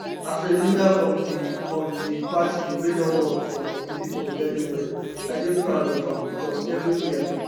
as a leader of di of di party wey don work for im pipo very well i dey proud of am becos evriwia